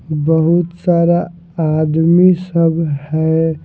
बहुत सारा आदमी सब है।